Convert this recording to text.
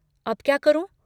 अब क्या करूँ?